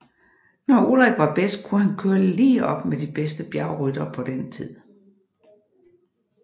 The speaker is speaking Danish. Når Ullrich var bedst kunne han køre lige op med de bedste bjergryttere på den tid